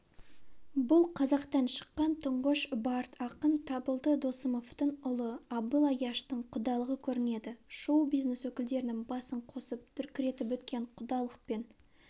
бұл қазақтан шыққан тұңғыш бард ақын табылды досымовтың ұлы абыл аяштың құдалығы көрінеді шоу-бизнес өкілдерінің басын қосып дүркіретіп өткен құдалық пен